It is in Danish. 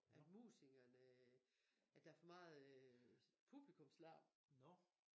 At musikerne at der for meget øh publikumslarm